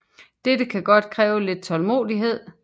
Dette kan godt kræve lidt tålmodighed